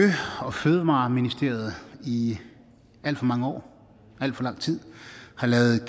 og fødevareministeriet i alt for mange år alt for lang tid har ladet